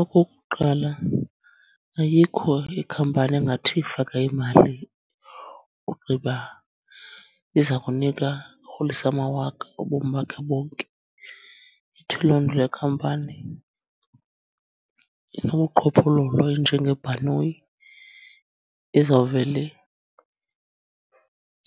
Okokuqala, ayikho ikhampani engathi faka imali ugqiba iza kunika rholisa amawaka ubomi bakhe bonke. Ithi loo nto le khampani inobuqhophololo injengebhanoyi ezawuvele